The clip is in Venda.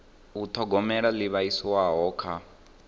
u thogomela ho livhiswaho kha